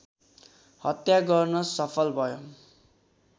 हत्या गर्न सफल भयो